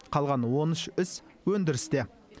қалған он үш іс өндірісте